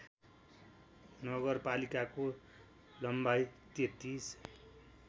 नगरपालिकाको लम्बाइ ३३